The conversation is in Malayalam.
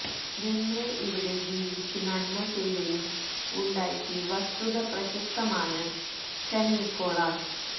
ദെമ്രെ ഇവിടെ ജീവിച്ചു നന്മചെയ്കയും ഉണ്ടാക്കി വസ്തുത പ്രശസ്തമാണ് സെന്റ് നിക്കോളാസ്